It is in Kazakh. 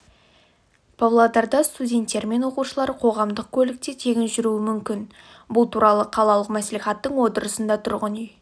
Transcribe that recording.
павлодарда студенттер мен оқушылар қоғамдық көлікте тегін жүруі мүмкін бұл туралы қалалық мәслихаттың отырысында тұрғын үй